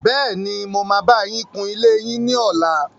Bẹ́ẹ́ni, mo máa bá yín kun ilé yín ní ọlá.